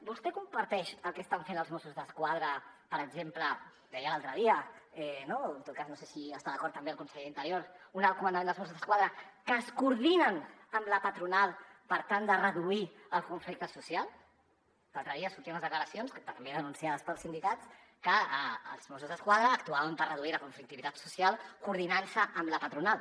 vostè comparteix el que estan fent els mossos d’esquadra per exemple que ho deia l’altre dia no en tot cas no sé si hi està d’acord també el conseller d’interior un alt comandament dels mossos d’esquadra que es coordinen amb la patronal per tal de reduir el conflicte social l’altre dia sortien les declaracions també denunciades pels sindicats que els mossos d’esquadra actuaven per reduir la conflictivitat social coordinant se amb la patronal